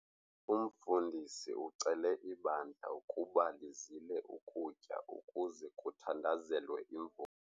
Umfundisi ucele ibandla ukuba lizile ukutya ukuze kuthandazelwe.